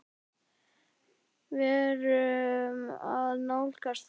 Við erum að nálgast það.